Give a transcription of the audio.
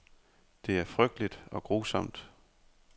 Det er frygteligt og grusomt.